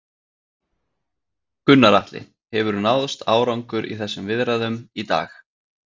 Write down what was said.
Gunnar Atli: Hefur náðst árangur í þessum viðræðum í dag?